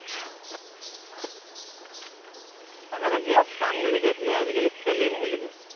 আগতে game খাম বুলি কৈছিলে আজিকালি খেলিম বুলি কয়